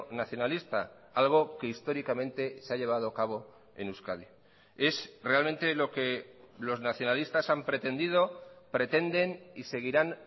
nacionalista algo que históricamente se ha llevado a cabo en euskadi es realmente lo que los nacionalistas han pretendido pretenden y seguirán